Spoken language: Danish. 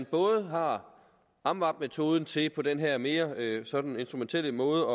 både har amvab metoden til at måle på den her mere instrumentelle måde